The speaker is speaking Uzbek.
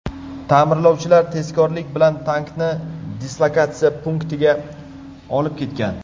Ta’mirlovchilar tezkorlik bilan tankni dislokatsiya punktiga olib ketgan.